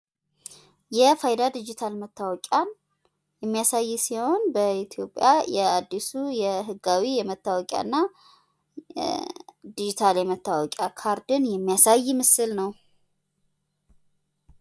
የፋይዳ ዲጅታል መታወቂን የሚያሳይ ሲሆን የኢትዮጵያ የአድሱ የህጋዊ መታወቂያ እና ዲጂታል የመታወቂያ ካርድን የሚያሳይ ምስል ነው።